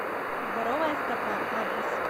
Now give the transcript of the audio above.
здоровая стопа адрес